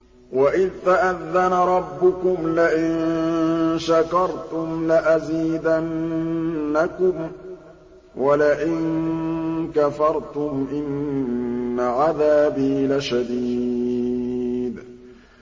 وَإِذْ تَأَذَّنَ رَبُّكُمْ لَئِن شَكَرْتُمْ لَأَزِيدَنَّكُمْ ۖ وَلَئِن كَفَرْتُمْ إِنَّ عَذَابِي لَشَدِيدٌ